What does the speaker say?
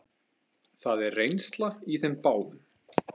Það er reynsla í þeim báðum.